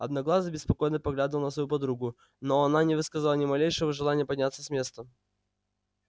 одноглазый беспокойно поглядывал на свою подругу но она не высказала ни малейшего желания подняться с места